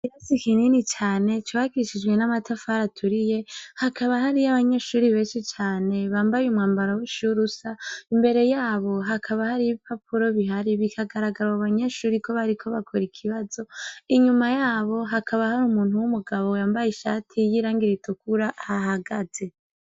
Irazi ikinini cane cbakishijwe n'amatafara aturiye hakaba hariyo abanyeshuri beshi cane bambaye umwambaro bushi w'urusa imbere yabo hakaba hari i bi papuro bihari bikagaragara wa banyeshuri ko bariko bakora ikibazo inyuma yabo hakaba hari umuntu w'umugabo yambaye ishati y'iyoirangira i tukura hahagaze.